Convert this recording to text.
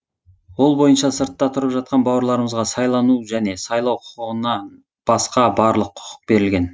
ол бойынша сыртта тұрып жатқан бауырларымызға сайлану және сайлау құқығынан басқа барлық құқық берілген